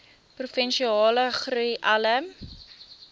provinsiale groei alle